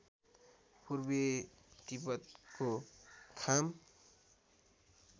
पूर्वी तिब्बतको खाम